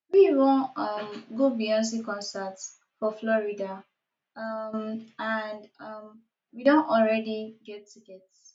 we wan um go beyonce concert for florida um and um we don already get ticket